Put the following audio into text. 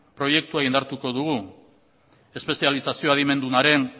proiektua indartuko dugu espezializazio adimenduaren